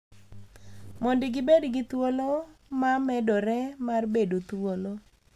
Mondo gibed gi thuolo ma medore mar bedo thuolo.